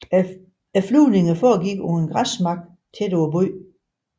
Flyvningerne foregik fra en græsmark tæt på byen